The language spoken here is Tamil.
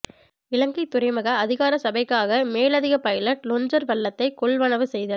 இலங்கை துறைமுக அதிகார சபைக்காக மேலதிக பைலட் லொஞ்சர் வள்ளத்தை கொள்வனவு செய்தல்